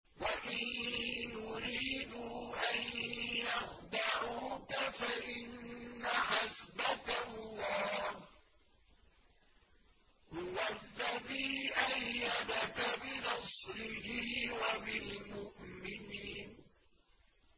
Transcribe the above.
وَإِن يُرِيدُوا أَن يَخْدَعُوكَ فَإِنَّ حَسْبَكَ اللَّهُ ۚ هُوَ الَّذِي أَيَّدَكَ بِنَصْرِهِ وَبِالْمُؤْمِنِينَ